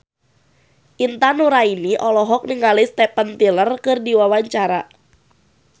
Intan Nuraini olohok ningali Steven Tyler keur diwawancara